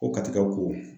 Ko katikɛw ko